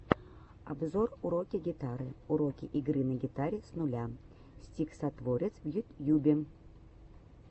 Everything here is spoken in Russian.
обзор уроки гитары уроки игры на гитаре с нуля стиксатворец в ютьюбе